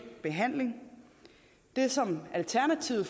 behandling det som alternativet